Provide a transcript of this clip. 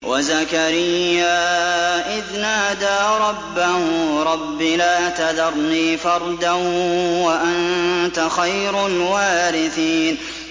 وَزَكَرِيَّا إِذْ نَادَىٰ رَبَّهُ رَبِّ لَا تَذَرْنِي فَرْدًا وَأَنتَ خَيْرُ الْوَارِثِينَ